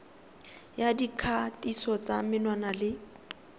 ya dikgatiso tsa menwana le